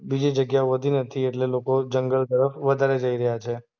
બીજી જગ્યા વધી નથી એટલે લોકો જંગલ તરફ વધારે જઈ રહ્યા છે.